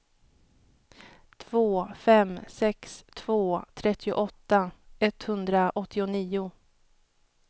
två fem sex två trettioåtta etthundraåttionio